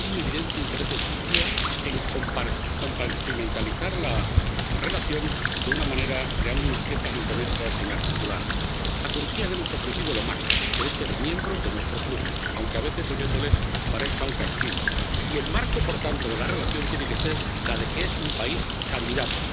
Porque hay un evidente interés de Turquía en compartimentalizar la relación, creando unas piezas inconexas e inarticuladas. A Turquía le hemos ofrecido lo máximo, que es ser miembro de nuestro club —aunque a veces oyéndoles parezca un castigo—, y el marco, por tanto, de la relación tiene que ser la de que es un país candidato.